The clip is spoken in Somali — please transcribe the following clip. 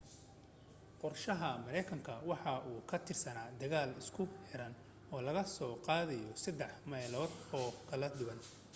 qorshaha maraykanku waxa uu ku tiirsanaa dagaal isku xiran oo laga soo qaadayo saddex meelood oo kala duwan